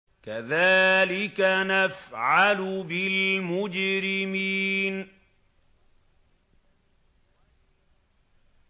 كَذَٰلِكَ نَفْعَلُ بِالْمُجْرِمِينَ